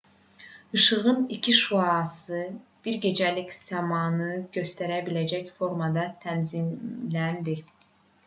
i̇şığın iki şüası bir gecəlik səmanı göstərə biləcək formada tənzimləndi